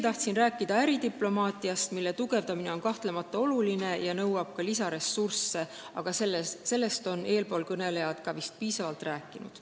Tahtsin rääkida veel äridiplomaatiast, mille tugevdamine on kahtlemata oluline ja nõuab ka lisaressurssi, aga sellest on eelkõnelejad vist piisavalt rääkinud.